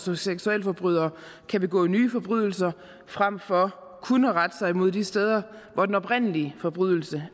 hvor seksualforbrydere kan begå nye forbrydelser frem for kun at rette sig imod de steder hvor den oprindelige forbrydelse